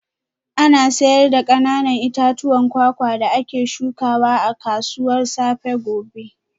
Ana sayar da kananan itatuwan kwakwa da ake shukawa a kasuwar safe gobe